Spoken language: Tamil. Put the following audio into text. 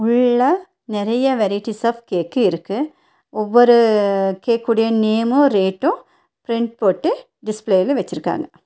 உள்ள நெறைய வெரைட்டிஸ் ஆப் கேக் இருக்கு ஒவ்வொரு கேக் ஓட நேமும் ரேட்டும் பிரிண்ட் போட்டு டிஸ்ப்ளேல வச்சிருக்காங்க.